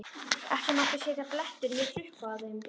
Ekki mátti sjást blettur né hrukka á þeim.